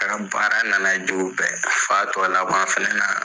A ka baara nana bɛɛ la f'a tɔ laban fɛnɛ na